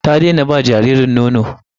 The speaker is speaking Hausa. Ta daina ba jaririnta nono.